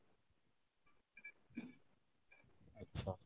আচ্ছা